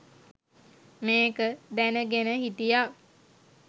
මේක දැනගෙන හිටියා.